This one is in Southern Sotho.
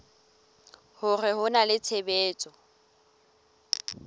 hore ho na le tshebetso